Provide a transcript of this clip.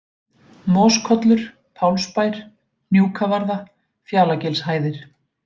Moskollur, Pálsbær, Hnjúkavarða, Fjalagilshæðir